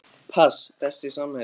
pass Besti samherjinn?